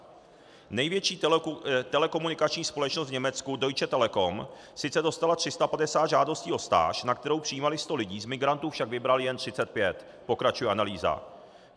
Největší telekomunikační společnost v Německu Deutsche Telekom sice dostala 350 žádostí o stáž, na kterou přijímali 100 lidí, z migrantů však vybrali jen 35, pokračuje analýza.